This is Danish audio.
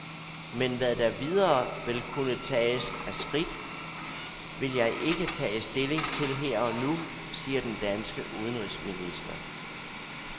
Men hvad der videre vil kunne tages af skidt, vil jeg ikke tage stilling til her og nu, siger den danske udenrigsminister.